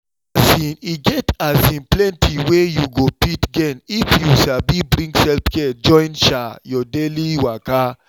um e get um plenty wey you go fit gain if you sabi bring self-care join um your daily waka.